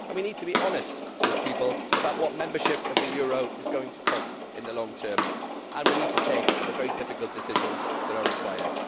We need to be honest with people about what membership of the euro is going to cost in the long term, and we need to take the very difficult decisions that are required.